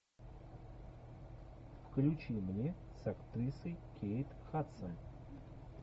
включи мне с актрисой кейт хадсон